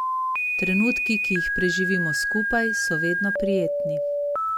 Trenutki, ki jih preživimo skupaj, so vedno prijetni.